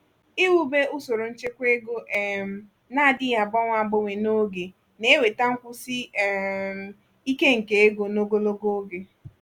iwube usoro nchekwa ego um na-adịghị agbanwe agbanwe n'oge na-eweta nkwụsi um ike nke ego n'ogologo oge.